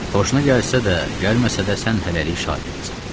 Xoşuna gəlsə də, gəlməsə də sən hələlik şagirdəsən.